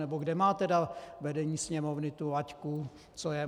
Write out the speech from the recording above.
Nebo kde má tedy vedení Sněmovny tu laťku, co je...